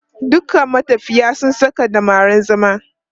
"Dukan matafiya su saka dammaran zama".